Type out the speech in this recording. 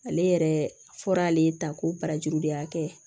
Ale yɛrɛ fɔra ale ta ko barajuru de y'a kɛ